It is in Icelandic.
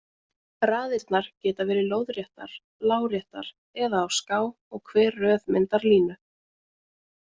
Raðirnar geta verið lóðréttar, láréttar eða á ská og hver röð myndar línu.